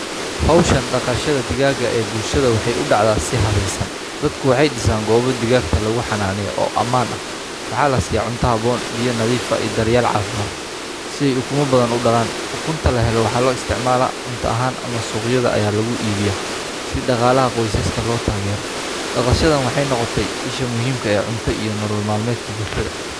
Hawshan dhaqashada digaaga ee bulshada waxay u dhacdaa si habaysan. Dadku way disaan goobo digaagta lagu xanaaneyo oo ammaan ah. Waxaa la sii cunto haboon biyo nadiifa ay daryeel caafimaad siay ukuma badan u dhalaan. Ukunta la helo waxaa loo isticmaalo cunto ahaan ama soqayaada ayaa lagu iibiya si dhaqaalaha qoysaska loo taageero. Dhaqashadan waxay noqotay isha muhiimka ah ee cunta iyo nolol maalmeedka bulshada.